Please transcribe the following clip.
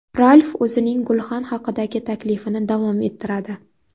Ralf o‘zining gulxan haqidagi taklifini davom ettiradi.